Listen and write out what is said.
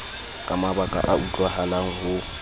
ka mabaka a utlwahalang ho